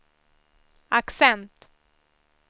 accent